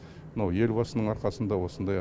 мынау елбасының арқасында осындай